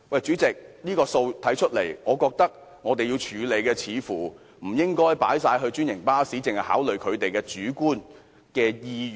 主席，從這個數字來看，我認為在這問題上，不應只考慮專營巴士的主觀意願。